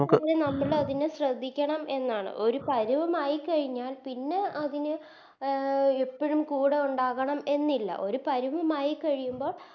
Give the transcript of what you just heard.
നമ്മളതിനെ ശ്രദ്ധിക്കണം എന്നാണ് ഒരു പരിവം ആയിക്കഴിഞ്ഞൽ പിന്നെ അതിന് അഹ് എപ്പഴും കൂടെ ഒണ്ടാകണം എന്നില്ല ഒരു പരിവം ആയിക്കഴിയുമ്പോ